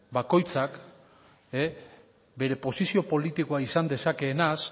bakoitzak bere posizio politikoa esan dezakeenaz